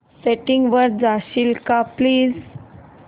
settings वर जाशील का प्लीज